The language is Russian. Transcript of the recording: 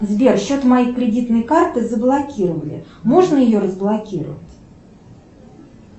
сбер счет моей кредитной карты заблокировали можно ее разблокировать